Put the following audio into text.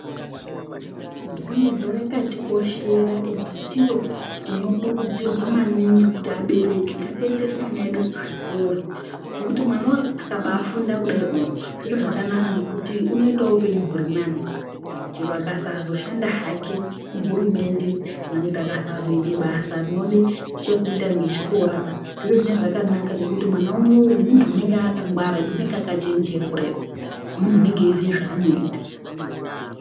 Dzidzo yakatikoshera ende chiro chinokurudzirwa maningi kuti abereki ngatiendese ana edu kuzvikora ngekuti mwana akabae funda kudaio zvirozvanaka ngekuti unoitawo hupenyu kuri nani chero akasazoshanda hake kuHurumende kana kuti akazoite basa rinode chekuita ngechikora zvinenge zvakabanaka ngekuti mwana anenge akachenjera kudaio munthu unenge eiziya zvaanoita.